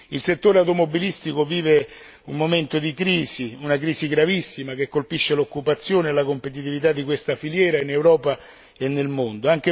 Il settore automobilistico vive un momento di crisi, una crisi gravissima che colpisce l'occupazione e la competitività di questa filiera in Europa e nel mondo.